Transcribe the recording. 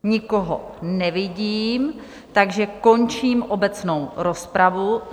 Nikoho nevidím, takže končím obecnou rozpravu.